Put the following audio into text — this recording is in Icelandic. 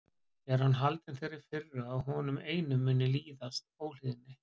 Er hann haldinn þeirri firru að honum einum muni líðast óhlýðni?